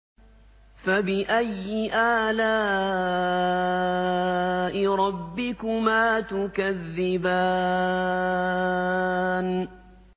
فَبِأَيِّ آلَاءِ رَبِّكُمَا تُكَذِّبَانِ